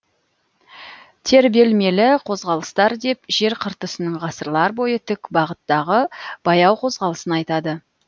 тербелмелі қозғалыстар деп жер қыртысының ғасырлар бойы тік бағыттағы баяу қозғалысын айтады